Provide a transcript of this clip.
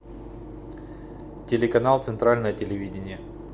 телеканал центральное телевидение